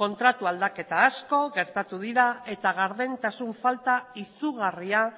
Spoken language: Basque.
kontratu aldaketa asko gertatu dira eta gardentasun falta izugarria